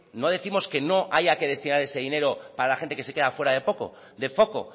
no décimos que no haya que destinar ese dinero para la gente que se queda fuera de foco